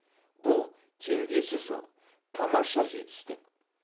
бұл теңдесі жоқ тамаша жетістік